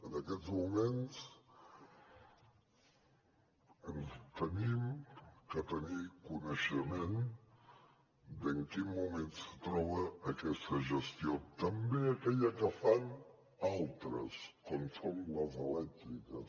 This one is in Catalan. en aquests moments hem de tenir coneixement de en quin moment se troba aquesta gestió també aquella que fan altres com són les elèctriques